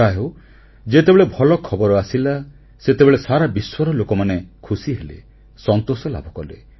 ଯାହାହେଉ ଯେତେବେଳେ ଭଲ ଖବର ଆସିଲା ସେତେବେଳେ ସାରା ବିଶ୍ୱର ଲୋକମାନେ ଖୁସି ହେଲେ ସନ୍ତୋଷ ଲାଭ କଲେ